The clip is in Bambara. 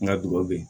Nga dugawu be yen